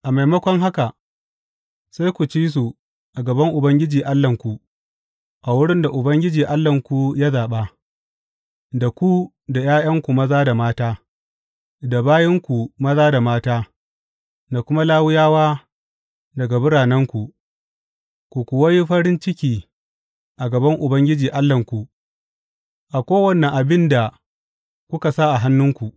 A maimakon haka, sai ku ci su a gaban Ubangiji Allahnku a wurin da Ubangiji Allahnku ya zaɓa, da ku da ’ya’yanku maza da mata, da bayinku maza da mata, da kuma Lawiyawa daga biranenku, ku kuwa yi farin ciki a gaban Ubangiji Allahnku a kowane abin da kuka sa hannunku.